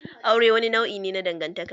Aure wani nau'i ne na dangantaka.